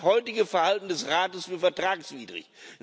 Ich halte das heutige Verhalten des Rates für vertragswidrig.